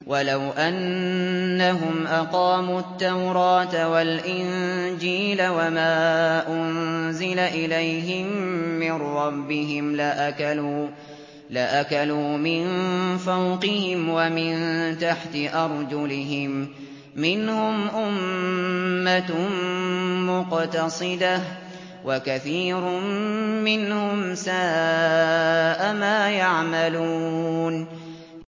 وَلَوْ أَنَّهُمْ أَقَامُوا التَّوْرَاةَ وَالْإِنجِيلَ وَمَا أُنزِلَ إِلَيْهِم مِّن رَّبِّهِمْ لَأَكَلُوا مِن فَوْقِهِمْ وَمِن تَحْتِ أَرْجُلِهِم ۚ مِّنْهُمْ أُمَّةٌ مُّقْتَصِدَةٌ ۖ وَكَثِيرٌ مِّنْهُمْ سَاءَ مَا يَعْمَلُونَ